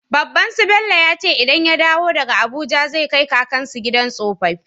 Babban su Bello yace idan ya dawo daka abuja zai kai kakan su gidan tsofafi